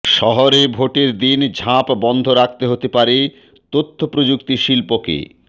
শহরে ভোটের দিন ঝাঁপ বন্ধ রাখতে হতে পারে তথ্যপ্রযুক্তি শিল্পকে